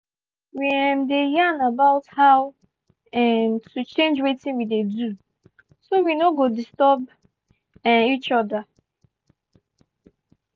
we um dey yarn about how um to change wetin we dey do so we no go disturb um each other.